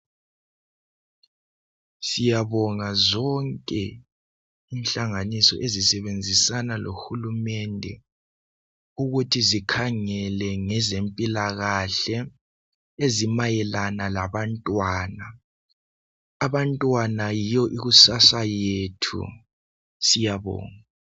Siyabonga zonke inhlanganiso ezisebenzisana lo hulumende ukuthi zikhangele ngezempilakahle ezimayelana labantwana, abantwana yiyo ikusasa yethu siyabonga.